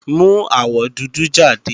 Mú awọ dúdú jáde!